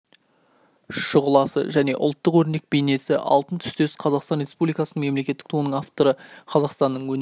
шұғыласы және ұлттық өрнек бейнесі алтын түстес қазақстан республикасының мемлекеттік туының авторы қазақстанның өнер